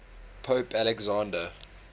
pope alexander